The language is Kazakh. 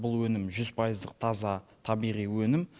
бұл өнім жүз пайыздық таза табиғи өнім